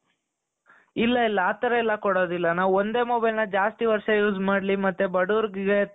ಇಲ್ಲಾ ಇಲ್ಲಾ ಆತರ ಎಲ್ಲಾ ಕೊಡೋದಿಲ್ಲ. ನಾವ್ ಒಂದೇ mobileನ ಜಾಸ್ತಿ ವರ್ಷ use ಮಾಡ್ಲಿ ಮತ್ತೆ ಬಡವರಿಗೆ